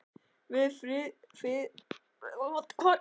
Við Friðrik erum Evrópumenn hélt hann áfram.